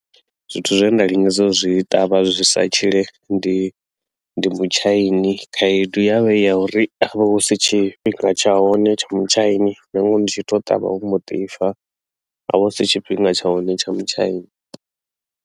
Zwithu zwe nda lingedza u zwi ṱavha zwi sa tshile ndi ndi mutshaini khaedu ya vha i ya uri ho vha hu si tshifhinga tsha hone tsha mutshaini nangoho ndi tshi ṱavha wo mbo ḓi fa ha vha hu si tshifhinga tsha hone tsha mutshaini.